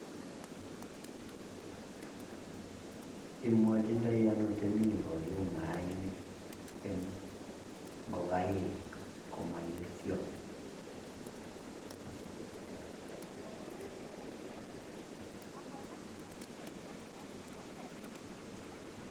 Imwochindoino temik koyum mainik en ngokaik komoyesio?